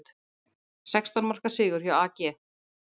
Sextán marka sigur hjá AG